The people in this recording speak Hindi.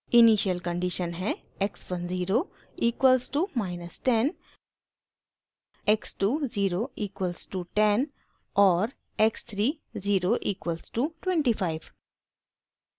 इनिशियल कंडीशन हैं x 1 zero equals to minus 10 x 2 zero equals to 10 और x 3 ज़ीरो इक्वल्स टू 25